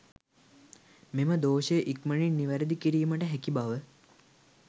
මෙම දෝෂය ඉක්මනින් නිවැරදි කිරීමට හැකි බව